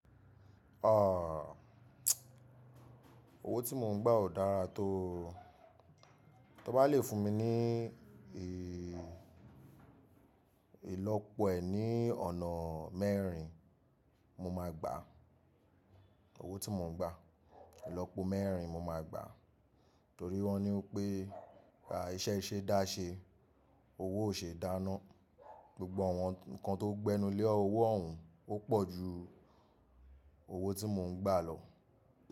Ààh, owó tí mò ń gbà ò dára tó o. Tí ó bá lè fún mi ní ilọ́pọ̀ e ni ọ̀nà mẹ́rin, mo máa gbà owó tí mò ń gbà. Ìlọ́pọ̀ mẹ́rin mo máa gbà. Torí wọ́n ní wípé ìṣẹ́ ṣe dá ṣe, owó ò ṣe dáná. Gbogbo àwọn ǹkan tó gbẹ́nu lé owó òhún ó pọ̀ ju owó tí mò ń gbà lọ.